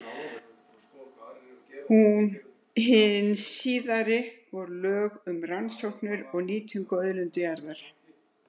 Hin síðari voru lög um rannsóknir og nýtingu á auðlindum í jörðu.